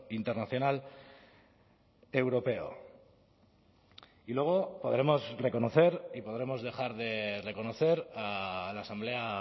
internacional europeo y luego podremos reconocer y podremos dejar de reconocer a la asamblea